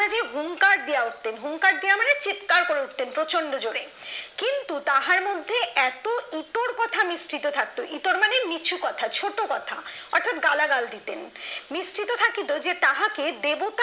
হুংকার দিয়া উঠতেন হুংকার দিয়ে দেয়া মানে চিৎকার করে উঠতেন প্রচন্ড জোরে কিন্তু তাহার মধ্যে এত ইতর কথা মিশ্রিত থাকতো ইতর মানে নিচু কথা ছোট কথা অর্থাৎ গালাগাল দিতেন মিশ্রিত থাকিতো যে তাকে দেবতার